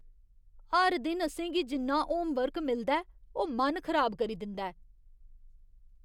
हर दिन असें गी जिन्ना होमवर्क मिलदा ऐ, ओह् मन खराब करी दिंदा ऐ।